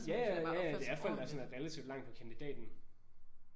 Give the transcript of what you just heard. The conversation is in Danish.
Ja ja. Ja ja det er folk der er sådan relativt langt på kandidaten